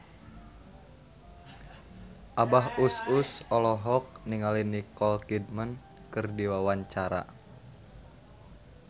Abah Us Us olohok ningali Nicole Kidman keur diwawancara